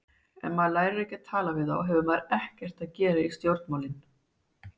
Ef maður lærir ekki að tala við þá hefur maður ekkert að gera í stjórnmálin.